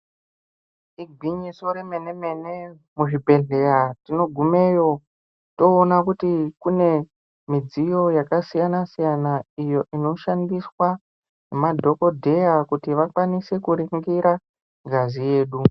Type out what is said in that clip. Igwinyiso remene-mene, muzvibhedhlera tinogumeyo toona kuti kune midziyo yakasiyana-siyana iyo inoshandiswa nemadhokodheya kuti vakwanisw kuringira ngazi yedu.